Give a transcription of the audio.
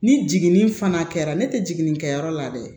Ni jiginni fana kɛra ne tɛ jiginni kɛyɔrɔ la dɛ